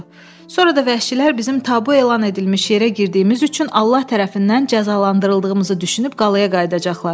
Sonra da vəhşilər bizim tabu elan edilmiş yerə girdiyimiz üçün Allah tərəfindən cəzalandırıldığımızı düşünüb qalaya qayıdacaqlar.